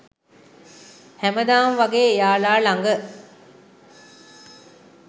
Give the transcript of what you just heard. හැමදාම වගේ එයාලා ළඟ